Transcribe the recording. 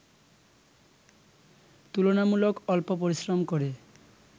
তুলনামূলক অল্প পরিশ্রম করে